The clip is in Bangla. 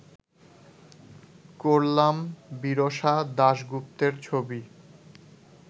করলাম বিরসা দাশগুপ্তের ছবি